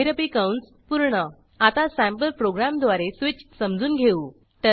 महिरपी कंस पूर्ण आता सँपल प्रोग्रॅमद्वारे स्वीच समजून घेऊ